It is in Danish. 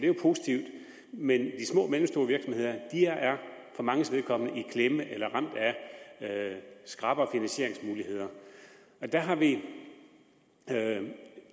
jo positivt men de små og mellemstore virksomheder er for manges vedkommende i klemme eller ramt af skrappere finansieringsmuligheder der har vi